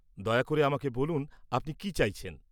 দয়া করে আমাকে বলুন আপনি কি জানতে চাইছেন।